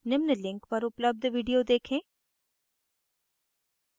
निम्न link पर उपलब्ध video देखें